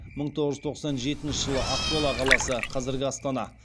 мың тоғыз жүз тоқсан жетінші жылы ақмола қаласы